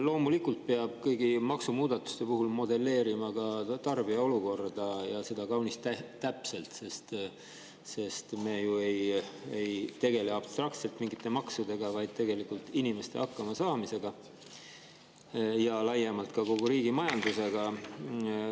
Loomulikult peab kõigi maksumuudatuste puhul modelleerima ka tarbija olukorda, ja seda kaunis täpselt, sest me ju ei tegele abstraktselt mingite maksudega, vaid tegelikult inimeste hakkamasaamisega ja laiemalt ka kogu riigi majandusega.